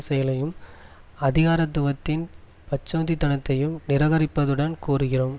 செயலையும் அதிகாரத்துவத்தின் பச்சோந்தித்தனத்தையும் நிரகரிப்பதுடன் கோருகிறோம்